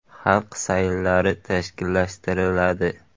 Xalq sayllari tashkillashtiriladi.